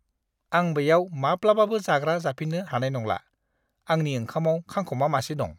आं बेयाव माब्लाबाबो जाग्रा जाफिन्नो हानाय नंला, आंनि ओंखामाव खांखमा मासे दं!